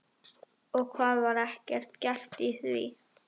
Og hvað, var ekkert gert í því?